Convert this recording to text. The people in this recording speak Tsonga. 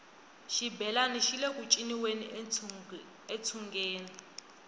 xibelani xile ku ciniweni entsungeni